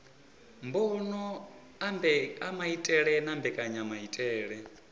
mbono a maitele na mbekanyamaitele